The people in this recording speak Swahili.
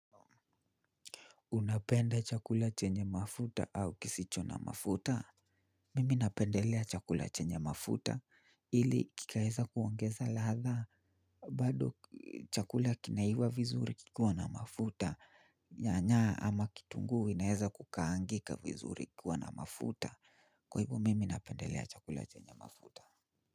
Unapenda chakula chenye mafuta au kisicho na mafuta? Mimi napendelea chakula chenye mafuta ili kikaeza kuongeza ladha, bado chakula kinaiva vizuri kikiwa na mafuta. Nyanya ama kitungu inaeza kukaangika vizuri ikiwa na mafuta. Kwa hivo mimi napendelea chakula chenye mafuta.